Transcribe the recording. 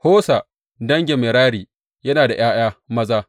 Hosa dangin Merari yana da ’ya’ya maza.